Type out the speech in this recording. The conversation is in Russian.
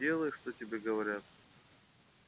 делай что тебе говорят